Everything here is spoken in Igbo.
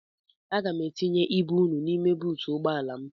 Aga m etinye ibu unu n'ime buutu ụgbọala m.